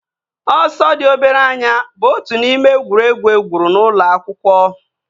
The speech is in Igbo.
Ọsọ dị obere anya bụ otu n'ime egwuregwu egwuru n'ụlọ akwụkwọ